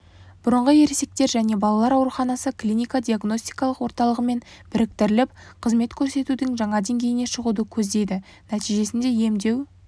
бұрынғы ересектер және балалар ауруханасы клиника-диагностикалық орталығымен біріктіріліп қызмет көрсетудің жаңа деңгейіне шығуды көздейді нәтижесінде емдеу